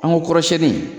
An ko kɔrɔsɛni